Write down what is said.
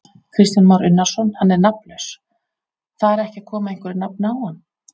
Kristján Már Unnarsson: Hann er nafnlaus, þar ekki að koma einhverju nafni á hann?